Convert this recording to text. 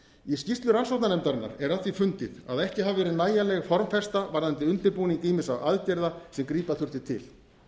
í skýrslu rannsóknarnefndarinnar er að því fundið að ekki hafi verið nægjanleg formfesta varðandi undirbúning ýmissa aðgerða sem grípa þurfti til